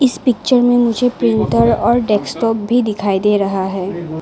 इस पिक्चर में मुझे प्रिंटर और डेस्कटॉप भी दिखाई दे रहा है।